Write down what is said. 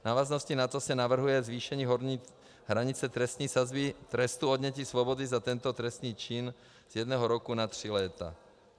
V návaznosti na to se navrhuje zvýšení horní hranice trestní sazby trestu odnětí svobody za tento trestný čin z jednoho roku na tři léta.